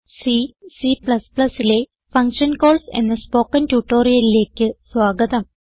C C ലെ function calls എന്ന spoken ട്യൂട്ടോറിയലിലേക്ക് സ്വാഗതം